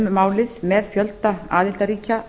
um málið með fjölda aðildarríkja